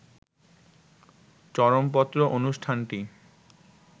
চরমপত্র অনুষ্ঠানটি